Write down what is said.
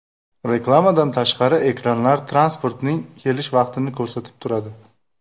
Reklamadan tashqari, ekranlar transportning kelish vaqtini ko‘rsatib turadi.